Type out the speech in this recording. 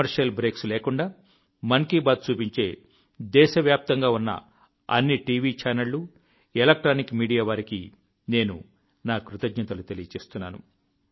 commercial breaks లేకుండా మన్ కీ బాత్ చూపించే దేశవ్యాప్తంగా ఉన్న అన్ని టీవీ ఛానళ్లు ఎలక్ట్రానిక్ మీడియా వారికి నేను నా కృతజ్ఞతలు తెలియజేస్తున్నాను